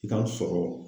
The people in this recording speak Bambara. I ka sɔrɔ